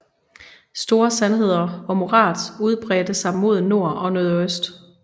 Store sandheder og morads udbredte sig mod nord og nordøst